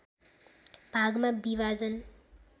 भागमा विभाजन